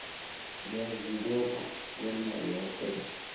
ngiyazibopha bona yoke